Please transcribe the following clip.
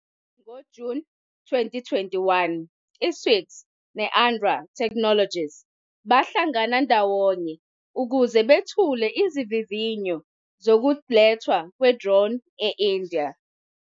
NgoJuni 2021, i-Swiggy ne-ANRA Technologies bahlangana ndawonye ukuze bethule izivivinyo zokulethwa kwe-drone e-India.